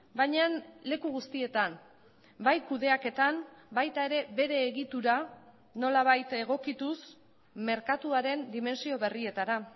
baina leku guztietan bai kudeaketan baita ere bere egitura nolabait egokituz merkatuaren dimentsio berrietara